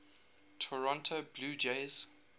toronto blue jays